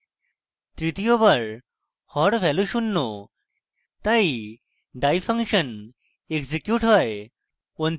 তৃতীয়বার হর value শূন্য তাই die ফাংশন এক্সিকিউট হয়